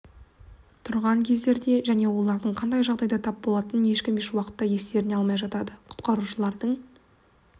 тұрған кездерде және олардың қандай жағдайға тап болатынын ешкім еш уақытта естеріне алмай жатады құтқарушылардың